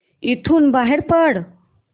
इथून बाहेर पड